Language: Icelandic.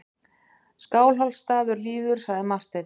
Skálholtsstaður líður, sagði Marteinn.